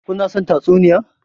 Ku na son tatsuniyan?